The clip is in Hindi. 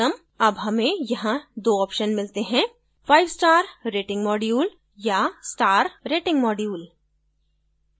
अब हमें यहां 2 options मिलते हैं fivestar rating module या star rating module